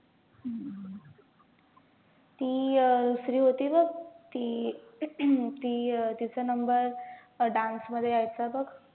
ती अं दुसरी होती बघ, ती ती अं तिचा number dance मध्ये यायचा बघ.